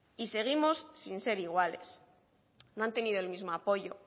y seguimos sin ser iguales no han tenido el mismo apoyo